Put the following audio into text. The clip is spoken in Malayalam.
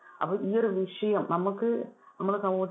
അപ്പൊ ഈ ഒരു വിഷയം, നമുക്ക് നമ്മുടെ സമൂ~